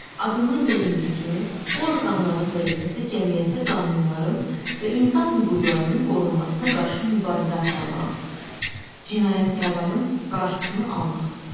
Adından göründüyü kimi, bu orqanların vəzifəsi cəmiyyətdə qanunların və insan hüquqlarının qorunmasına qarşı mübarizə aparmaq, cinayətkarların qarşısını almaqdır.